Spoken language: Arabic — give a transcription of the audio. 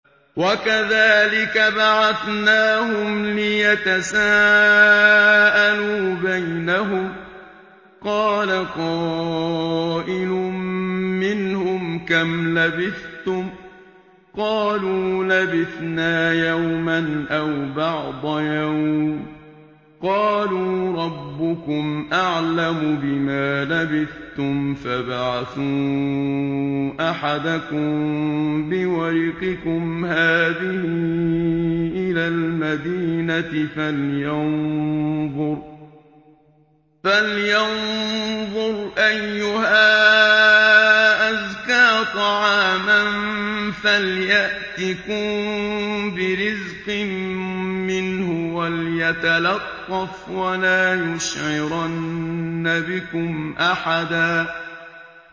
وَكَذَٰلِكَ بَعَثْنَاهُمْ لِيَتَسَاءَلُوا بَيْنَهُمْ ۚ قَالَ قَائِلٌ مِّنْهُمْ كَمْ لَبِثْتُمْ ۖ قَالُوا لَبِثْنَا يَوْمًا أَوْ بَعْضَ يَوْمٍ ۚ قَالُوا رَبُّكُمْ أَعْلَمُ بِمَا لَبِثْتُمْ فَابْعَثُوا أَحَدَكُم بِوَرِقِكُمْ هَٰذِهِ إِلَى الْمَدِينَةِ فَلْيَنظُرْ أَيُّهَا أَزْكَىٰ طَعَامًا فَلْيَأْتِكُم بِرِزْقٍ مِّنْهُ وَلْيَتَلَطَّفْ وَلَا يُشْعِرَنَّ بِكُمْ أَحَدًا